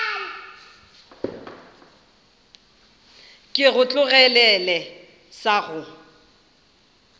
ke go tlogelele sa go